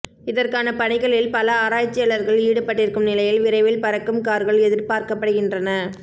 இதற்கான பணிகளில் பல ஆராய்ச்சியாளர்கள் ஈடுபட்டிருக்கும் நிலையில் விரைவில் பறக்கும் கார்கள் எதிர்பார்க்கப்படுகின்றன